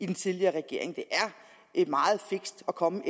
den tidligere regering det er meget fikst at komme